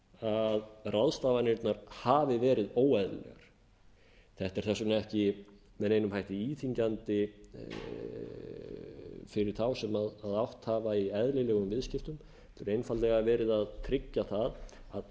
að ráðstafanirnar hafi verið óeðlilegar þetta er þess vegna ekki með neinum hætti íþyngjandi fyrir þá sem átt hafa í eðlilegum viðskiptum það er einfaldlega verið að tryggja að